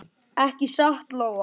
Ekki satt Lóa?